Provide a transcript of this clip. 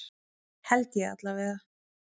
Held ég allavega.